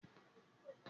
A ṣi òògùn lò ni Akin.